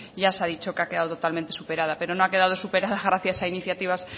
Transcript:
ya se ha dicho que ha quedado totalmente superada pero no ha quedado superada gracias a iniciativas